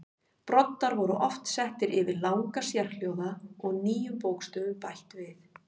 Broddar voru oft settir yfir langa sérhljóða og nýjum bókstöfum bætt við.